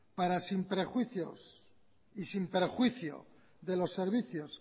para sin prejuicios y sin prejuicio de los servicios